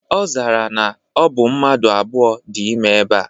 Ozara ya na obu mmadu abuo di ime eba.